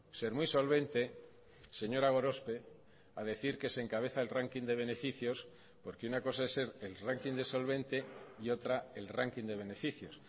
ser muy solvente señora gorospe a decir que se encabeza el ranking de beneficios porque una cosa es ser el ranking de solvente y otra el ranking de beneficios